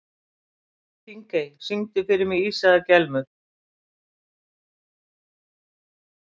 Þingey, syngdu fyrir mig „Ísaðar Gellur“.